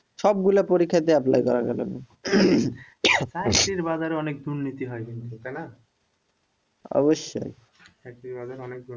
সবগুলো পরীক্ষা তে অ্যাপ্লাই করা যাবে চাকরির বাজারে অনেক দুর্নীতি হয় কিন্ত